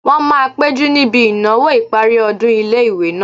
Wọ́n máa péjú níbi ìnáwó ìparí ọdún ilé-ìwé náà